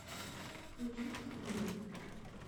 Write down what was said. включить ниман